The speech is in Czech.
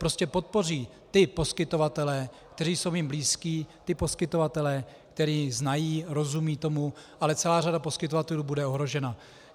Prostě podpoří ty poskytovatele, kteří jsou jim blízcí, ty poskytovatele, které znají, rozumějí tomu, ale celá řada poskytovatelů bude ohrožena.